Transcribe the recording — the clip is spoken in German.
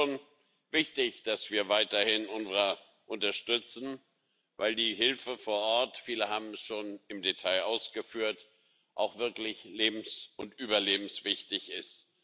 Es ist schon wichtig, dass wir weiterhin das UNRWA unterstützen, weil die Hilfe vor Ort viele haben es schon im Detail ausgeführt auch wirklich lebens und überlebenswichtig ist.